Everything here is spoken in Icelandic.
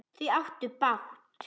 Þau áttu bágt!